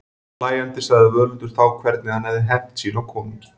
Hlæjandi sagði Völundur þá hvernig hann hafði hefnt sín á konungi.